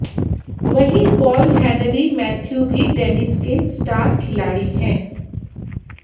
वहीं Paul Henri Mathieu भी tennis के स्टार खिलाड़ी हैं